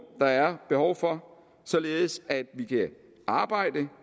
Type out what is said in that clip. der er behov for således at vi kan arbejde